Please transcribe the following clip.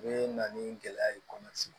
U bɛ na ni gɛlɛya ye kɔnɔ sigi